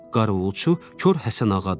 Qarovulçu Kor Həsənağadır.